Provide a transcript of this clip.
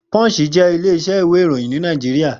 Punch jé ilé isẹ́ ìwé ìròyìn ní Naijiria